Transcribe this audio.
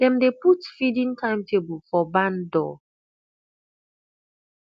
dem dey put feeding timetable for barn door